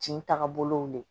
Jin tagabolow de ye